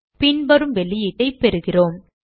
பின்வரும் வெளியீட்டைப் பெறுகிறோம்